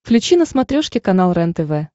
включи на смотрешке канал рентв